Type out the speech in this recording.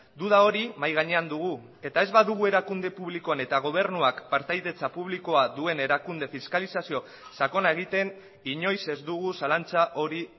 duda hori mahai gainean dugu eta ez badugu erakunde publikoan eta gobernuak partaidetza publikoa duen erakunde fiskalizazio sakona egiten inoiz ez dugu zalantza hori